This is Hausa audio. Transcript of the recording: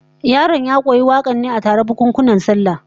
Yaron ya koyi wakar ce a taron bukunkunan sallah